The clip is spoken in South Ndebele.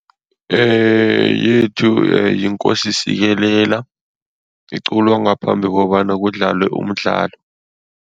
Yethu yiNkosi sikelela, iculwa ngaphambi kobana kudlalwe umdlalo.